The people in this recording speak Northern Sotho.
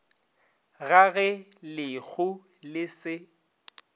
ga ge lehu le se